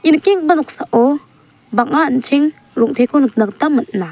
ia nikenggipa noksao bang·a an·cheng rong·teko nikna gita man·a.